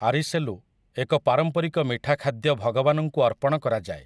ଆରିସେଲୁ, ଏକ ପାରମ୍ପାରିକ ମିଠା ଖାଦ୍ୟ ଭଗବାନଙ୍କୁ ଅର୍ପଣ କରାଯାଏ ।